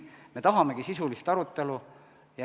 Me tahamegi sisulist arutelu.